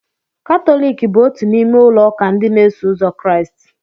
Katọlik bụ otú n'ime ụlọ ụka ndị na-eso ụzọ Kraịst.